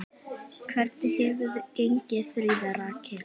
Hvernig hefur gengið, Fríða Rakel?